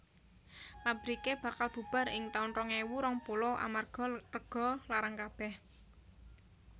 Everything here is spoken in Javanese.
Pabrike bakal bubar ing taun rong ewu rong puluh amarga rego larang kabeh